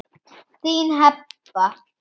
Þín Heba.